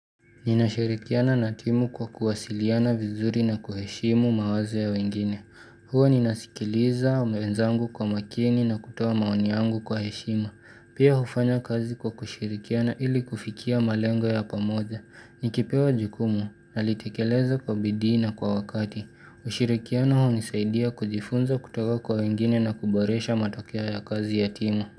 Ninashirikiana na timu kwa kuwasiliana vizuri na kuheshimu mawazo ya wengine. Huwa ninasikiliza mwenzangu kwa makini na kutoa maoni yangu kwa heshima. Pia hufanya kazi kwa kushirikiana ili kufikia malengo ya pamoja. Nikipewa jukumu, nanitekeleza kwa bidii na kwa wakati ushirikiano hunisaidia kujifunza kutoka kwa wengine na kuboresha matokeo ya kazi ya timu.